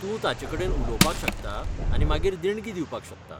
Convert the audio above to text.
तूं ताचेकडेन उलोवपाक शकता आनी मागीर देणगी दिवपाक शकता.